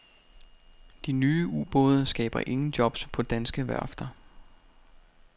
De nye ubåde skaber ingen jobs på danske værfter.